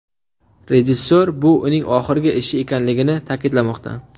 Rejissor bu uning oxirgi ishi ekanligini ta’kidlamoqda.